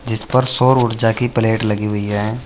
जिस पर सौर ऊर्जा की प्लेट लगी हुई है।